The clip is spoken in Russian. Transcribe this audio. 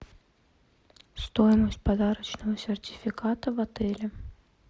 стоимость подарочного сертификата в отеле